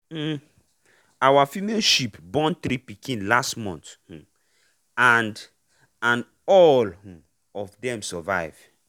um our female sheep born three pikin last month um and and all um of dem survive.